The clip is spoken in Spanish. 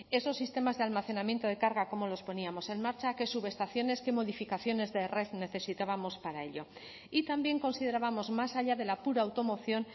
esos sistemas de almacenamiento de carga cómo los poníamos en marcha qué subestaciones qué modificaciones de red necesitábamos para ello y también considerábamos más allá de la pura automoción